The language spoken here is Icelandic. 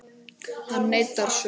Hann neitar sök.